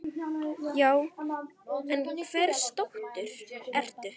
Já, en hvers dóttir ertu?